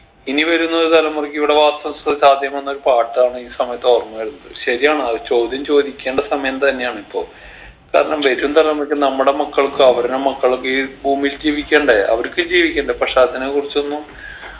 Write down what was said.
ഇനി വരുന്നൊരു തലമുറയ്ക്ക് ഇവിടെ വാസം സ സാധ്യമോ എന്നൊരു പാട്ടാണ് ഈ സമയത്ത് ഓർമ്മ വരുന്നത് ശരിയാണ് അത് ചോദ്യം ചോദിക്കേണ്ട സമയം തന്നെയാണ് ഇപ്പൊ കാരണം വരും തലമുറയ്ക്ക് നമ്മുടെ മക്കൾക്ക് അവരുടെ മക്കളും ഈ ഭൂമിയിൽ ജീവിക്കണ്ടേ അവർക്ക് ജീവിക്കണ്ടേ പക്ഷെ അതിന കുറിച്ചൊന്നും